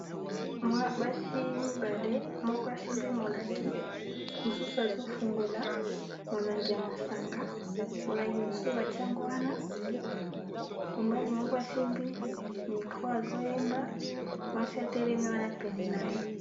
Bana basi mitano minei basimbi milangi moko mosusu azofungola molangi ya masanga molangi mosusu batiango wana mobali moko asimbi mikro azoyemba mwasi atelemi wana pene na ye.